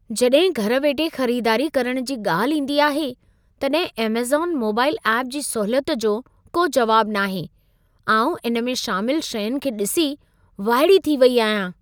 जॾहिं घर वेठे ख़रीदारी करण जी ॻाल्हि ईंदी आहे, तॾहिं अमेज़न मोबाईल एप्प जी सहूलियत जो को जवाबु न आहे। आउं इन में शामिल शयुंनि खे ॾिसी वाइड़ी थी वई आहियां।